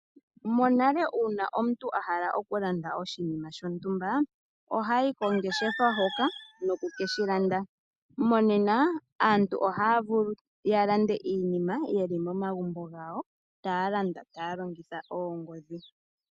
Monale una omuntu ahala okulanda oshinima shontumba ohayi kongeshefa hoka noku keshi landa. Monena aantu ohaya vulu ya lande iinima yeli mo magumbo gawo taya landa taya longitha oongodhi.